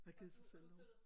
Have givet sig selv nogle